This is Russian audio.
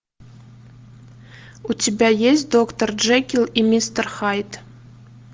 у тебя есть доктор джекилл и мистер хайд